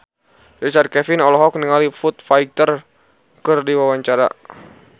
Richard Kevin olohok ningali Foo Fighter keur diwawancara